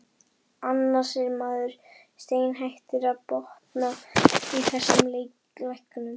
Annars er maður steinhættur að botna í þessum læknum.